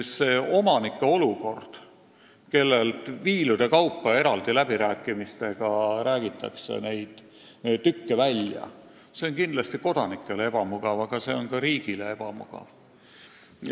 See olukord, et eraldi läbirääkimistega ostetakse omanikelt maaribasid välja, on omanikele kindlasti ebamugav, aga see on ka riigile ebamugav.